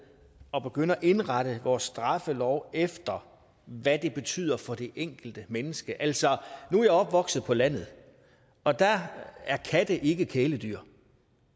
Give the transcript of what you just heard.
at begynde at indrette vores straffelov efter hvad det betyder for det enkelte menneske altså nu er jeg opvokset på landet og der er katte ikke kæledyr